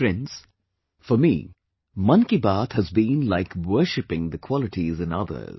Friends, for me, 'Mann Ki Baat' has been like worshipping the qualities in others